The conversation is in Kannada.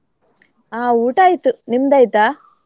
ಹಾ ಊಟ ಆಯ್ತು, ನಿಮ್ದ್ ಆಯ್ತಾ?